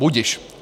Budiž.